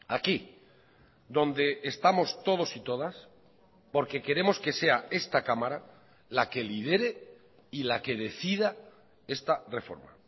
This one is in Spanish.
aquí donde estamos todos y todas porque queremos que sea esta cámara la que lidere y la que decida esta reforma